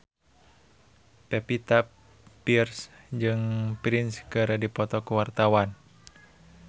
Pevita Pearce jeung Prince keur dipoto ku wartawan